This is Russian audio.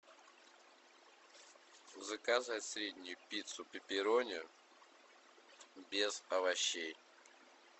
заказать среднюю пиццу пепперони без овощей